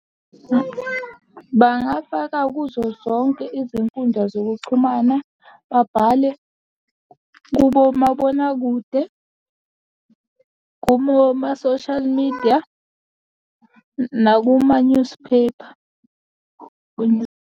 Bangafaka kuzo zonke izinkundla zokuxhumana, babhale kubo omabonakude, kumo ma-social media, nakuma newspaper.